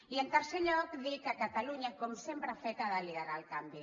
i en tercer lloc dir que catalunya com sempre ha fet ha de liderar el canvi